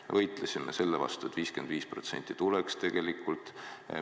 Me võitlesime selle vastu, et tuleks 55%.